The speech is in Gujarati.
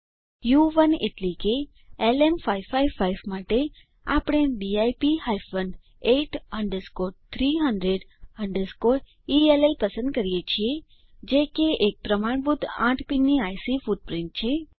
ઉ1 એટલે કે એલએમ555 માટે આપણે DIP hyphen 8 underscore 300 underscore ELL પસંદ કરીએ છીએ જે કે એક પ્રમાણભૂત આઠ પીનની આઇસી ફૂટપ્રીંટ છે